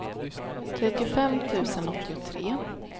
trettiofem tusen åttiotre